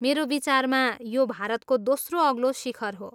मेरो विचारमा यो भारतको दोस्रो अग्लो शिखर हो ?